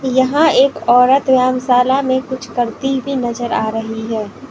यहां एक औरत व्यायामशाला में कुछ करती हुई नजर आ रही है।